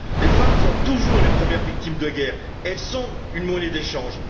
Les femmes sont toujours les premières victimes de la guerre, elles sont une monnaie d'échange.